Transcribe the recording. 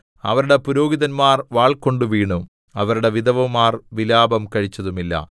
അവരുടെ പുരോഹിതന്മാർ വാൾകൊണ്ടു വീണു അവരുടെ വിധവമാർ വിലാപം കഴിച്ചതുമില്ല